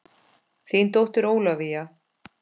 Þín dóttir Ólafía.